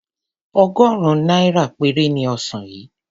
Ọgọ́rùn-ún náírà péré ni ọsàn yìí.